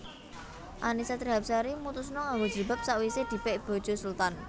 Annisa Trihapsari mutusno nganggo jilbab sakwise dipek bojo Sultan